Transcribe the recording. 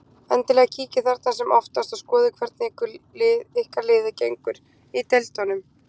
Endilega kíkið þarna sem oftast og skoðið hvernig ykkar liði gengur í deildunum.